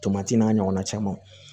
Tomati n'a ɲɔgɔnna camanw